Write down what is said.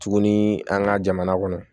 Tuguni an ka jamana kɔnɔ